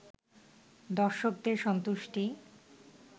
দর্শকদের সন্তুষ্টি